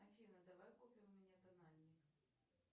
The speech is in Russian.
афина давай купим мне тональник